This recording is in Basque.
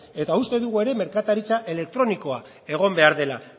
eta uste dugu ere merkataritza elektronikoa egon behar dela